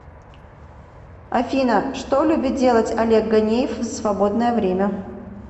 афина что любит делать олег ганеев в свободное время